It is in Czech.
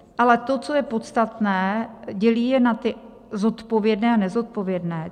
Ale to, co je podstatné, dělí je na ty zodpovědné a nezodpovědné."